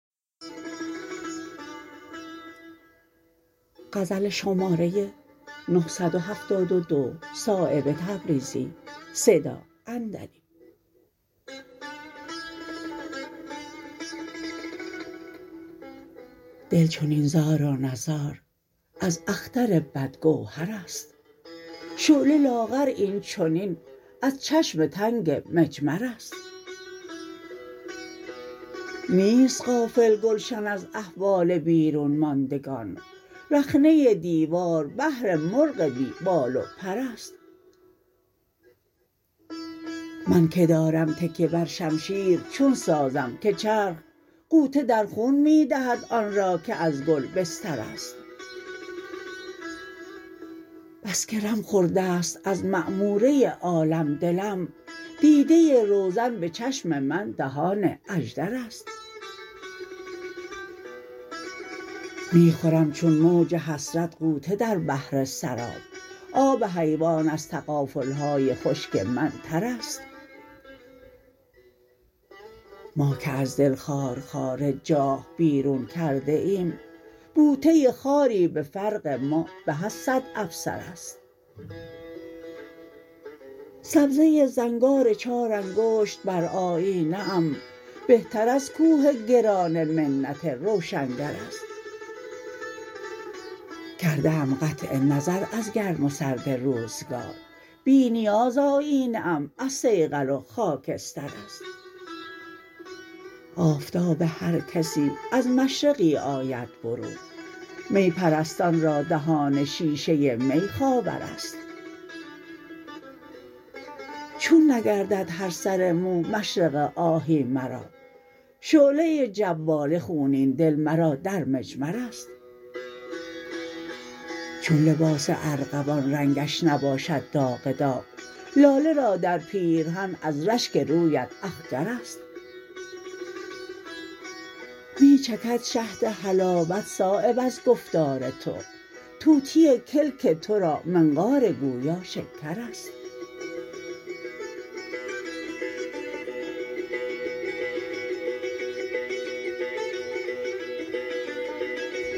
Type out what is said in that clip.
دل چنین زار و نزار از اختر بد گوهرست شعله لاغر این چنین از چشم تنگ مجمرست نیست غافل گلشن از احوال بیرون ماندگان رخنه دیوار بهر مرغ بی بال و پرست من که دارم تکیه بر شمشیر چون سازم که چرخ غوطه در خون می دهد آن را که از گل بسترست بس که رم خورده است از معموره عالم دلم دیده روزن به چشم من دهان اژدرست می خورم چون موج حسرت غوطه در بحر سراب آب حیوان از تغافل های خشک من ترست ما که از دل خارخار جاه بیرون کرده ایم بوته خاری به فرق ما به از صد افسرست سبزه زنگار چار انگشت بر آیینه ام بهتر از کوه گران منت روشنگرست کرده ام قطع نظر از گرم و سرد روزگار بی نیاز آیینه ام از صیقل و خاکسترست آفتاب هر کسی از مشرقی آید برون می پرستان را دهان شیشه می خاورست چون نگردد هر سر مو مشرق آهی مرا شعله جواله خونین دل مرا در مجمرست چون لباس ارغوان رنگش نباشد داغ داغ لاله را در پیرهن از رشک رویت اخگرست می چکد شهد حلاوت صایب از گفتار تو طوطی کلک ترا منقار گویا شکرست